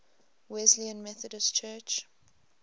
wesleyan methodist church